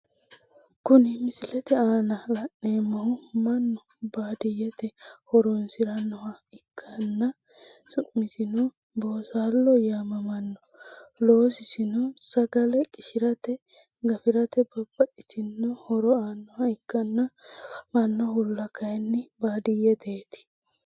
Kuni misilete aana la'neemohu mannu baadiyete horonsiranoha ikkana su'masino boosalo yaamamano loosisino sagale qishirate gafirate babaxitino horo aanoha ikkana afamanohula kayini baadiyeteti.